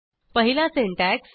पहिला सिंटॅक्स